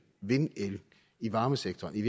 vindel i varmesektoren i